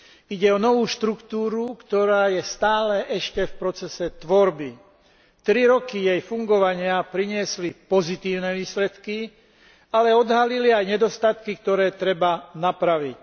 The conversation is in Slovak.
Ide o novú štruktúru, ktorá je ešte stále v procese tvorby. Tri roky jej fungovania priniesli pozitívne výsledky, ale odhalili aj nedostatky, ktoré treba napraviť.